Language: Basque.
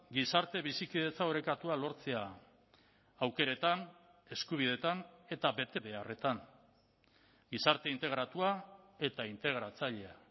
gizarte bizikidetza orekatua lortzea aukeretan eskubideetan eta betebeharretan gizarte integratua eta integratzailea